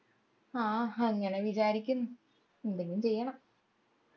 ആഹ് അങ്ങനെ വിചാരിക്കുന്നു എന്തെങ്കിലും ചെയ്യണം